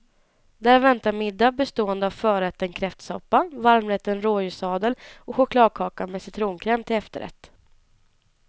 Där väntade middag bestående av förrätten kräftsoppa, varmrätten rådjurssadel och chokladkaka med citronkräm till efterrätt.